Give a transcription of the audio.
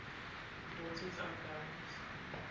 daughters of barons